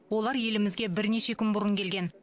олар елімізге бірнеше күн бұрын келген